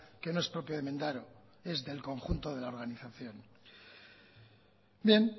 que no es propio de mendaro es del conjunto de la organización bien